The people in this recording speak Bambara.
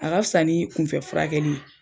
A ka fisa ni kunfɛ furakɛli ye.